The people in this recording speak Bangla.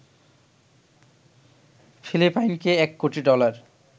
ফিলিপাইনকে ১ কোটি ডলার